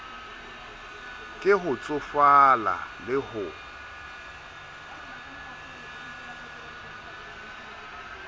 ke ho tsofala le ho